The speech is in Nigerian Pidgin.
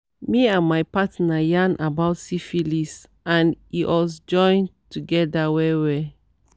me and my partner yarn about syphilis and e us join together well well